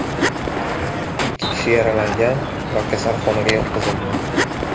Ikki kishi yaralangan va kasalxonaga yotqizilgan.